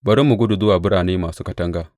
Bari mu gudu zuwa birane masu katanga!’